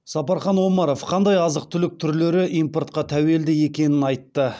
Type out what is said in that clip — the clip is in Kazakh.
сапархан омаров қандай азық түлік түрлері импортқа тәуелді екенін айтты